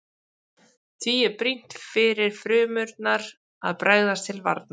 Því er brýnt fyrir frumurnar að bregðast til varnar.